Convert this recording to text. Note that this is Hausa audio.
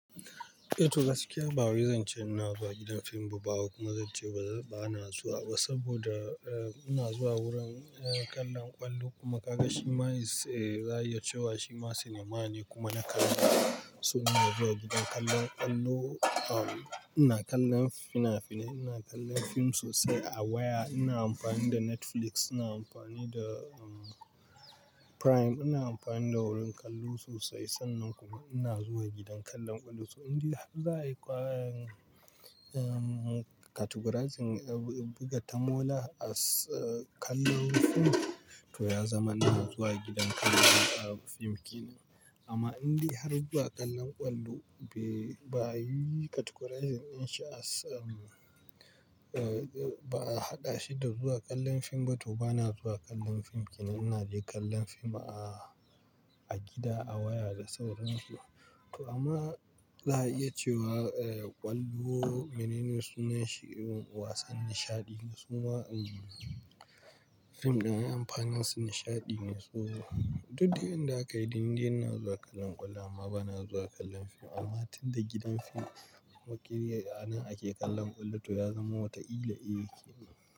Eh toh gaskiya ba wai zan ce ina zuwa gidan fim ba kuma zan ce ba na zuwa ba saboda eh ina zuwa wurin eh kallon ƙwallo kuma ka ga shi ma eh za a iya cewa shi ma sinima ne kuma na kallo. So ina zuwa gidan kallon ƙwallo, um ina kallon fina-fine, ina kallon fim sosai a waya, ina amfani da Netflix, ina amfani da um Prime, ina amfani da wurin kallo sosai sannan kuma ina zuwa gidan kallon ƙwallo. To in dai har za a yi ƙwarin um categorizing buga ta mola as kallon fim to ya zama ina zuwa gidan kallon fim ke nan. Amma in dai har zuwa kallon ƙwallo be ba a yi categorizing in shi as um eh ba a haɗa shi da zuwa kallon fim ba to ba na zuwa kallon fim ke nan, ina dai kallon fim a, a gida a waya da sauran su. To amma za a iya cewa eh ƙwallo mene ne sunan shi wasan nishaɗi ne suma um fim ɗin amfanin su nishaɗi ne. So duk yanda aka yi in dai ina zuwa kallon ƙwallo amma ba na zuwa kallon fim amma tunda gidan fim wakiliya anan ake kallon ƙwallo to ya zama wata ila yake.